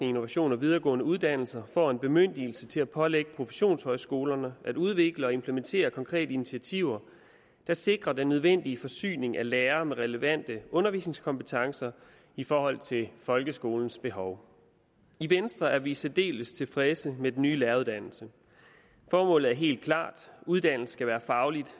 innovation og videregående uddannelser får en bemyndigelse til at pålægge professionshøjskolerne at udvikle og implementere konkrete initiativer der sikrer den nødvendige forsyning af lærere med relevante undervisningskompetencer i forhold til folkeskolens behov i venstre er vi særdeles tilfredse med den nye læreruddannelse formålet er helt klart uddannelsen skal være fagligt